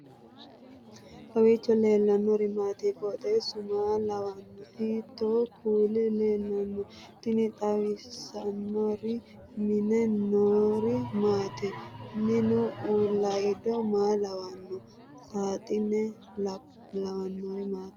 kowiicho leellannori maati ? qooxeessu maa lawaanno ? hiitoo kuuli leellanno ? tini xawissannori mine noori maati minu uullaydo maa lawanno saaxine lawannori maati